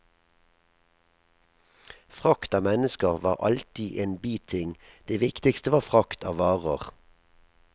Frakt av mennesker var alltid en biting, det viktigste var frakt av varer.